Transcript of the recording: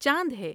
چاند ہے ۔